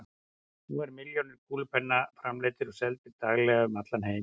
Nú eru milljónir kúlupenna framleiddir og seldir daglega um allan heim.